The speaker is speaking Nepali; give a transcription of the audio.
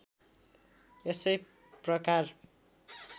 यसै प्रकार